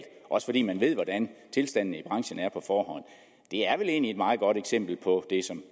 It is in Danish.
også fordi man ved hvordan tilstandene i branchen er det er vel egentlig et meget godt eksempel på det som